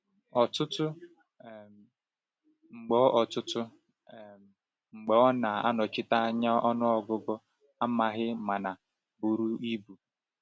Ọtụtụ um mgbe Ọtụtụ um mgbe ọ na-anọchite anya ọnụọgụ amaghị mana buru ibu.